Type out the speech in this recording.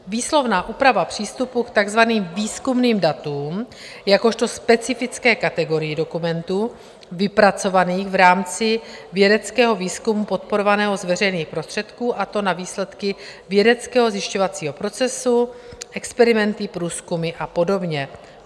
Výslovná úprava přístupu k takzvaným výzkumným datům jakožto specifické kategorii dokumentů vypracovaných v rámci vědeckého výzkumu podporovaného z veřejných prostředků, a to na výsledky vědeckého zjišťovacího procesu, experimenty, průzkumy a podobně.